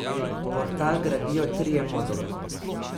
Portal gradijo trije moduli.